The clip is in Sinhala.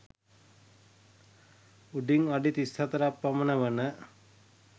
උසින් අඩි 34 ක් පමණ වන